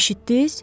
Eşitdiz?